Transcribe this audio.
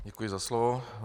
Děkuji za slovo.